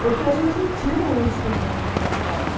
Porque a gente tinha um ensino muito engajado.